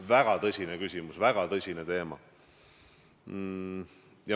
Väga tõsine küsimus, väga tõsine teema.